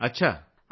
अच्छा ।